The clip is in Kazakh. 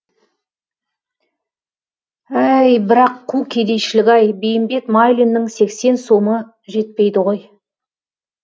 әй бірақ қу кедейшілік ай бейімбет майлиннің сексен сомы жетпейді ғой